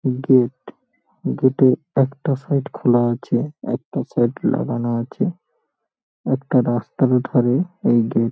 Gate গেটের একটা side খোলা আছে। একটা সাইড লাগানো আছে। একটা রাস্তার ধারে এই গেট ।